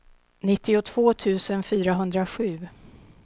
nittiotvå tusen fyrahundrasju